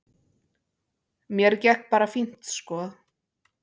Mér gekk bara fínt sko.